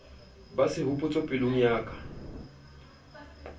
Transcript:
ba sehopotso pelong ya ka